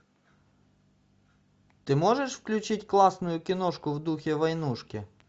ты можешь включить классную киношку в духе войнушки